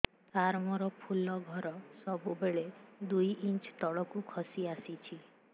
ସାର ମୋର ଫୁଲ ଘର ସବୁ ବେଳେ ଦୁଇ ଇଞ୍ଚ ତଳକୁ ଖସି ଆସିଛି